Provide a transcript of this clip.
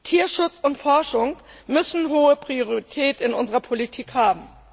Tierschutz und Forschung müssen hohe Priorität in unserer Politik haben.